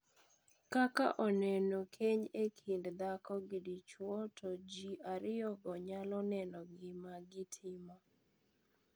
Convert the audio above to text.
Kaka oneno, keny en kind dhako gi dichuo to ji ariyogo nyalo neno gima gi timo.